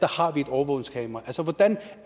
har vi et overvågningskamera